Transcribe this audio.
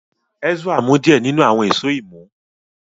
Ezra mu diẹ ninu awọn Èṣó imú.